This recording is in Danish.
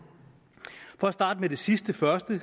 for at starte med det sidste først er